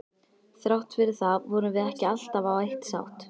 Þrátt fyrir það vorum við ekki alltaf á eitt sátt.